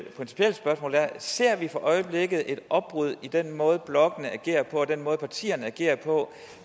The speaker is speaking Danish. spørgsmål er ser vi for øjeblikket et opbrud i den måde blokkene agerer på og den måde partierne agerer på